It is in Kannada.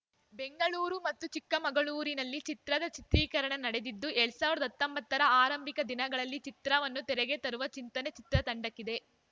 ಬೆಂಗಳೂರು ಮತ್ತು ಚಿಕ್ಕಮಗಳೂರಿನಲ್ಲಿ ಚಿತ್ರದ ಚಿತ್ರೀಕರಣ ನಡೆದಿದ್ದು ಎರಡ್ ಸಾವಿರದ ಹತ್ತೊಂಬತ್ತ ರ ಆರಂಭಿಕ ದಿನಗಳಲ್ಲಿ ಚಿತ್ರವನ್ನು ತೆರೆಗೆ ತರುವ ಚಿಂತನೆ ಚಿತ್ರತಂಡಕ್ಕಿದೆ